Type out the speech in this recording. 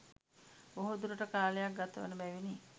බොහෝ දුරට කාලයක් ගතවන බැවිනි.